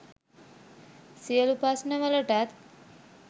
සියලු ප්‍රශ්ණවලටත්